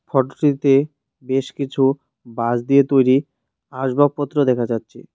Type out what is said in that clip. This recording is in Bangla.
ফোটোটিতে বেশ কিছু বাঁশ দিয়ে তৈরি আসবাবপত্র দেখা যাচ্ছে।